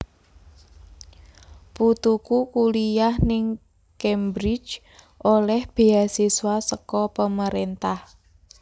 Putuku kuliah ning Cambridge oleh beasiswa seko pemerintah